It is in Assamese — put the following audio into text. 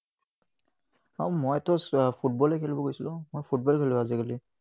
আহ মইতো ফুটবলে খেলিব গৈছিলো, মই ফুটবল খেলো আজিকালি।